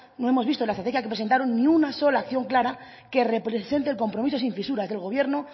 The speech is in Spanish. que presentaron ni una sola acción clara que represente el compromiso sin fisuras del gobierno